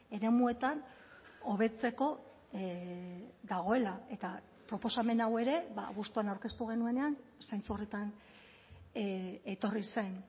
eremuetan hobetzeko dagoela eta proposamen hau ere abuztuan aurkeztu genuenean zentzu horretan etorri zen